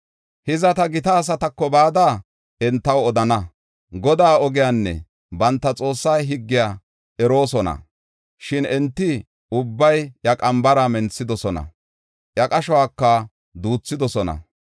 Hiza, ta gita asatako bada entaw odana. Godaa ogiyanne banta Xoossaa higgiya eroosona. Shin enti ubbay iya qambara menthidosona; iya qashuwaka duuthidosona.